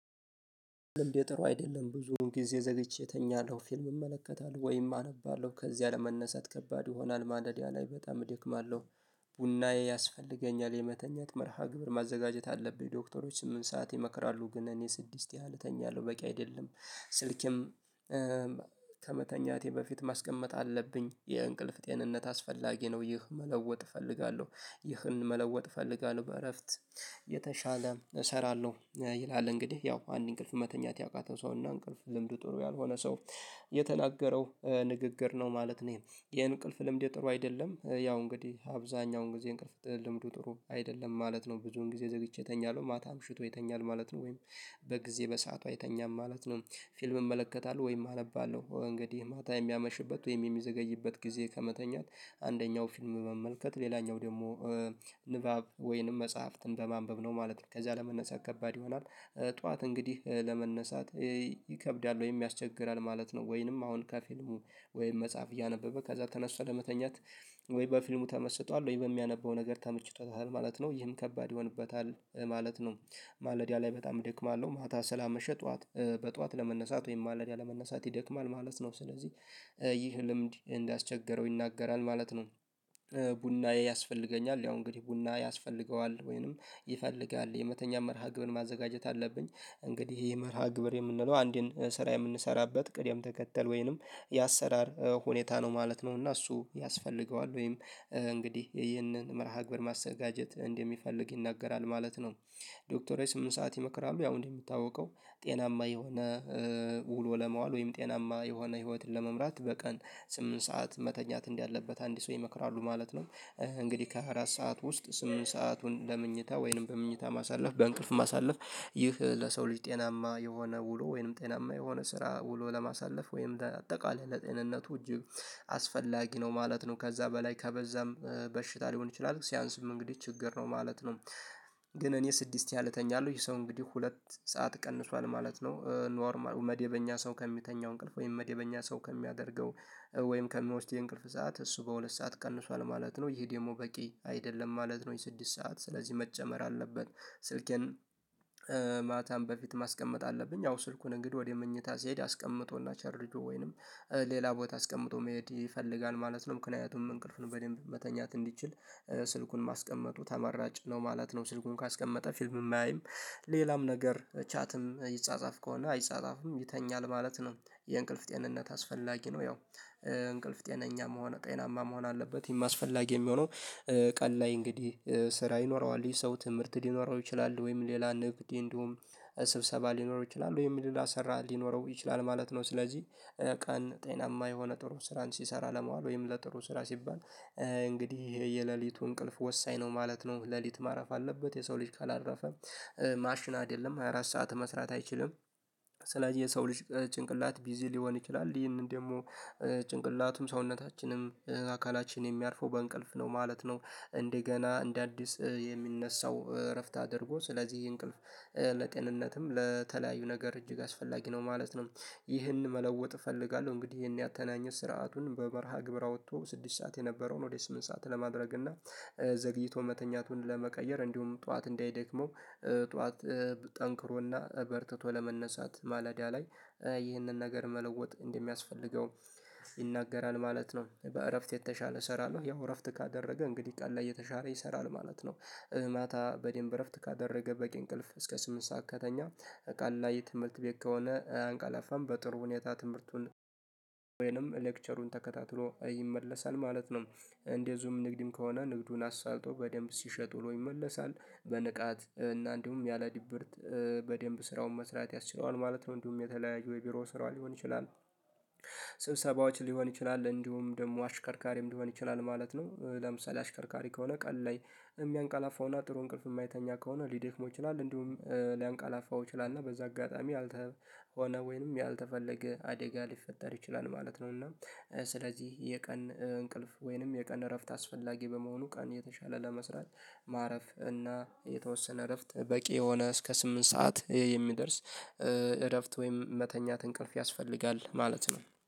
ልምዴ ጥሩ አይደለም ብዙዉን ጊዜ ዘግቼ እተኛለሁ ፊልም እመለከታለሁ ወይም አነባለሁ ከዚያ ለመነሳት ከባድ ይሆናል ማለዳ ለይ በጣም እደክማለሁ። ቡናዬ ያስፈልገኛል የመተኛት መርሃ ግብር ማዘጋጀት አለብኝ ዶክተሮች ስምንት ሰዓት ይመክራሉ ግን እኔ ስድስት ያህል እተኛለሁ በቂ አይደለም። ስልኬም ከመተኛቴ በፊት ማስቀመጥ አለብኝ የእንቅልፍ ጤንነት አስፈላጊ ነው ይህ መለወጥ እፈልጋለሁ። ይህን መለወጥ እፈልጋለሁ በእረፍት የተሻለ እሰራለሁ ይላል እንግዲህ ያው አንድ እንቅልፍ መተኛት ያቃተው ሰውና እንቅልፍ ልምድ ጥሩ ያልሆነ ሰው። የተናገረው ንግግር ነው ማለት ነው ይሄ የእንቅልፍ ልምድ ጥሩ አይደለም። ያው እንግዲህ አብዛኛውን ጊዜ እንቅልፍ ልምዱ ጥሩ አይደለም ማለት ነው ብዙን ጊዜ ዘግይቼ እተኛለው ማታ አምሽቶ የተኛል ማለት ነው ወይም በጊዜ በሰአቱ አይተኛም ማለት ነው። ፊልም እመለከታለሁ ወይም አነባለሁ እንግዲህ ማታ የሚያመሽበት ወይም የሚዘገይበት ጊዜ ከመተኛት አንደኛው ፊልም መመልከት ሌላኛው ደግሞ ንባብ ወይንም መጽሐፍትን በማንበብ ነው ማለት ነው ከዛ ለመነሳት ከባድ ይሆናል። ጠዋት እንግዲህ ለመነሳት ይከብዳል ወይም ያስቸግራል ማለት ነው። ወይንም አሁን ከፊልሙ ወይም መጽሐፍ እያነበበ ከዛ ተነስቶ ለመተኛት ወይ በፊልሙ ተመስጧል ወይ በሚያነበው ነገር ተመችቶታል ማለት ነው ይህም ከባድ ይሆንበታል ማለት ነው። ማለዳ ላይ በጣም እደክማለሁ ማታ ሰላመሸ ጧዋት በጧዋት ለመነሳት ወይም ማለዳ ለመነሳት ይደክማል ማለት ነው ስለዚህ ይህ ልምድ እንዳስቸግረው ይናገራል ማለት ነው። ቡናዬ ያስፈልገኛል ያው እንግዲህ ቡና ያስፈልገዋል ወይንም ይፈልጋል የመተኛት መርሃ ግብር ማዘጋጀት አለብኝ እንግዲህ ይሄ መርሃ ግብር የምንለው አንዴን ስራ የምንሰራበት ቅድም ተከተል ወይንም የአሰራር ሁኔታ ነው ማለት ነው እና እሱ ያስፈልገዋል ወይም እንግዲህ ይህንን መርሃ ግብር ማዘጋጀት እንደሚፈልግ ይናገራል ማለት ነው። ዶክተሮች ስምንት ሰዓት ይመክራሉ ያው እንዲሚታወቀው ጤናማ የሆነ ውሎ ለመዋል ወይም ጤናማ የሆነ ህይወትን ለመምራት በቀን ስምንት ሰዓት መተኛት እንዳለበት አንድ ሰው ይመክራሉ ማለት ነው። እንግዲህ ከሃያ አራት ሰዓት ውስጥ ስምንት ሰአቱን ለመኝታ ወይንም በመኝታ ማሳለፍ በእንቅልፍ ማሳለፍ ይህ ለሰው ልጅ ጤናማ የሆነ ውሎ ወይንም ጤናማ የሆነ ስራ ውሎ ለማሳለፍ ወይንም አጠቃላይ ለጤንነቱ እጅግ አስፈላጊ ነው ማለት ነው ከዛ በላይ ከበዛም በሽታ ሊሆን ይችላል ሲያንስም እንግዲህ ችግር ነው ማለት ነው። ግን እኔ ስድስት ያህል እተኛለሁ ይሄ ሰው እንግዲህ ሁለት ሰዓት ቀንሷል ማለት ነው። ኖርማል መደበኛ ሰው ከሚተኛው እንቅልፍ ወይም መደበኛ ሰው ከሚያደርገው ወይም ከሚወስደው የእንቅልፍ ሰዓት እሱ በሁለት ሰዓት ቀንሷል ማለት ነው ይሄ ደግሞ በቂ አይደለም ማለት ነው። የስድስት ሰዓት ስለዚህ መጨመር አለበት ስልኬን በፊት ማስቀመጥ አለብኝ አዎ ስልኩን እንግዲህ ወደ መኝታ ሲሄድ አስቀምጦና ቸርጆ ወይንም ሌላ ቦታ አስቀምጦ መሄድ ይፈልጋል ማለት ነው ምክንያቱም እንቅልፉን ነው በደንብ መተኛት እንዲችል ስልኩን ማስቀመጡ ተመራጭ ነው ማለት ነው። ስልኩን ካስቀመጠ ፊልም አያይም ሌላም ነገር ቻትም ይጻጻፍ ከሆነ አይጻጻፍም ይተኛል ማለት ነው። የእንቅልፍ ጤንነት አስፈላጊ ነው ያው እንቅልፍ ጤነኛም ሆነ ጤዬናማ መሆን አለበት ይህም አስፈላጊ የሚሆነው ቀን ላይ እንግዲህ ስራ ይኖረዋል ይህ ሰው ትምህርት ሊኖረው ይችላል ወይም ሌላ ንግድ እንዲሁም ስብሰባ ሊኖረው ይችላል ወይም ሌላ ሰራ ሊኖረው ይችላል ማለት ነው። ስለዚህ ቀን ጤናማ የሆነ ጥሩ ስራን ሲሰራ ለማዋል ወይም ለጥሩ ስራ ሲባል እንግዲህ የሌሊቱ እንቅልፍ ወሳኝ ነው ማለት ነው። ሌሊት ማረፍ አለበት የሰው ልጅ ካላረፈ ማሽን አይደለም ሃያ አራት ሰዓት መስራት አይችልም። ስለዚህ የሰው ልጅ ጭንቅላት ቢዚ ሊሆን ይችላል ይህንን ደግሞ ጭንቅላቱም ሰውነታችንም አካላችን የሚያርፈው በእንቅልፍ ነው ማለት ነው። እንደገና እንደ አዲስ የሚነሳው እረፍት አድርጎ ስለዚህ እንቅልፍ ለጤንነትም ለተለያዩ ነገር እጅግ አስፈላጊ ነው ማለት ነው። ይህን መለወጥ እፈልጋለሁ እንግዲህ ይሄን ያተናኘት ስርዓቱን በመርሃ ግብር አውጥቶ ስድስት ሰዓት የነበረውን ወደ ስምንት ሰዓት ለማድረግና ዘግይቶ መተኛቱን ለመቀየር እንዲሁም ጠዋት እንዳይደክመው ጠዋት ጠንክሮና በርትቶ ለመነሳት ማለዳ ላይ ይህንን ነገር መለወጥ እንደሚያስፈልገው ይናገራል ማለት ነው። በእረፍት የተሻለ እሰራለሁ ያው እረፍት ካደረገ እንግዲህ ቀን ላይ የተሻረለ ይሰራል ማለት ነው። ማታ በደንብ እረፍት ካደረገ በቂ እንቅልፍ እስከ ስምንት ሰዓት ከተኛ ቀን ላይ ትምህርት ቤት ከሆነ አያንቀላፋም በጥሩ ሁኔታ ትምህርቱን ወይንም ሌክቸሩን ተከታትሎ ይመለሳል ማለት ነው። እንደዚሁም ንግድም ከሆነ ንግዱን አሳልጦ በደንብ ሲሸጥ ዉሎ ይመለሳል በንቃት እና እንዲሁም ያለ ድብርት በደንብ ስራውን መስራት ያስችለዋል ማለት ነው። እንዲሁም የተለያየ የቢሮ ስራዎች ሊሆን ይችላል ስብሰባዎች ሊሆን ይችላል እንዲሁም ደግሞ አሽከርካሪም ሊሆን ይችላል ማለት ነው። ለምሳሌ አሽከርካሪ ከሆነ ቀል ላይ የሚያንቃላፋውና ጥሩ እንቅልፍ የማይተኛ ከሆነ ሊደክመው ይችላል እንዲሁም ሊያንቃላፋው ይችላል እና በዛ አጋጣሚ አልተሆነ ወይንም ያልተፈለገ አደጋ ሊፈጠር ይችላል ማለት ነው። እና ስለዚህ የቀን እንቅልፍ ወይንም የቀን እረፍት አስፈላጊ በመሆኑ ቀን የተሻለ ለመስራት ማረፍ እና የተወሰነ እረፍት በቂ የሆነ እስከ ስምንት ሰዓት የሚደርስ እረፍት ወይም መተኛት እንቅልፍ ያስፈልጋል ማለት ነው